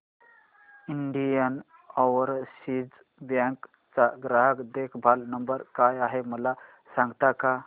Indian Overseas Bank चा ग्राहक देखभाल नंबर काय आहे मला सांगता का